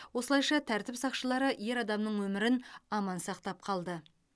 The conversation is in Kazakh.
осылайша тәртіп сақшылары ер адамның өмірін аман сақтап қалды